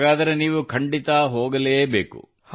ಹಾಗಾದರೆ ನೀವು ಖಂಡಿತಾ ಹೋಗಲೇ ಬೇಕು